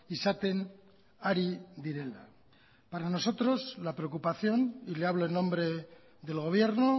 izaten ari direla para nosotros la preocupación y le hablo en nombre del gobierno